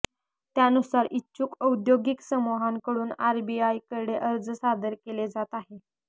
त्यानुसार इच्छुक औद्योगिक समूहांकडून आरबीआयकडे अर्ज सादर केले जात आहेत